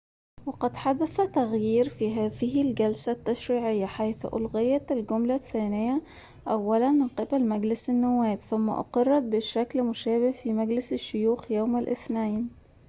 وقد حدث تغيير في هذه الجلسة التشريعيّة حيث أُلغيت الجملة الثّانية أوّلاً من قِبل مجلس النوّاب ثم أُقِرّت بشكل مشابه في مجلس الشّيوخ يوم الاثنين